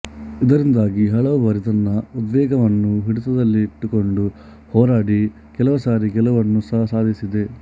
ಇದರಿಂದಾಗಿ ಹಲವು ಬಾರಿ ತನ್ನ ಉದ್ವೇಗವನ್ನು ಹಿಡಿತದಲ್ಲಿಟ್ಟುಕೊಂಡು ಹೋರಾಡಿ ಕೆಲವು ಸಾರಿ ಗೆಲುವನ್ನು ಸಹ ಸಾಧಿಸಿದೆ